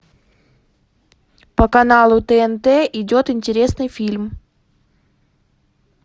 по каналу тнт идет интересный фильм